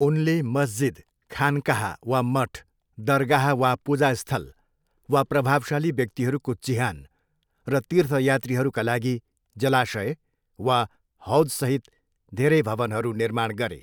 उनले मस्जिद, खानकाह वा मठ, दरगाह वा पूजास्थल वा प्रभावशाली व्यक्तिहरूको चिहान र तीर्थयात्रीहरूका लागि जलाशय वा हौज सहित धेरै भवनहरू निर्माण गरे।